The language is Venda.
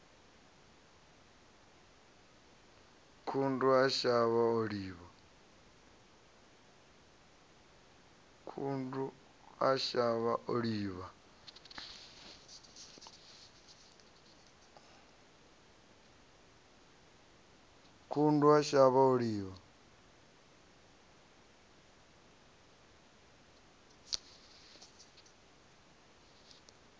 khundu a shavha o livha